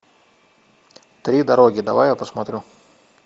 три дороги давай я посмотрю